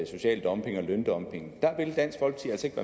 social dumping og løndumping